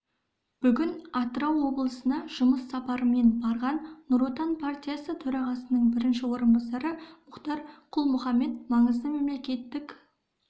бүгін атырау облысына жұмыс сапарымен барған нұр отан партиясы төрағасының бірінші орынбасары мұхтар құл-мұхаммед маңызды мемлекеттік